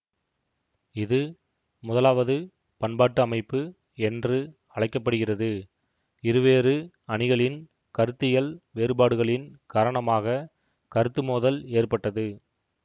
இது முதலாவது பன்பாட்டு அமைப்பு என்று அழைக்க படுகிறது இருவேறு அணிகளின் கருத்தியல் வேறுபாடுகளின் காரணமாக கருத்து மோதல் ஏற்பட்டது